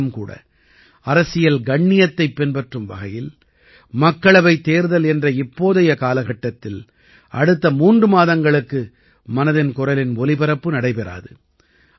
ஆனாலும் கூட அரசியல் கண்ணியத்தைப் பின்பற்றும் வகையில் மக்களவைத் தேர்தல் என்ற இப்போதைய காலகட்டத்தில் அடுத்த மூன்று மாதங்களுக்கு மனதின் குரலின் ஒலிபரப்பு நடைபெறாது